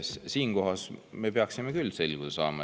Siinkohal me peaksime küll selguse saama.